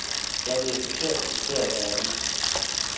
Jeg er blevet forkert citeret af avisen.